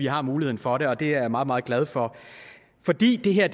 har muligheden for det og det er jeg meget meget glad for fordi det her